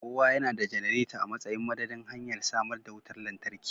kowa yana da janareta a matsayin madadin hanyar samar da wutar lantarki